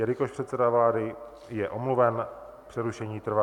Jelikož předseda vlády je omluven, přerušení trvá.